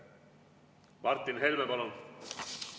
Martin Helme, palun!